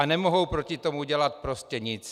A nemohou proti tomu dělat prostě nic.